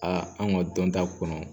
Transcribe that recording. an ka dɔn ta kɔnɔ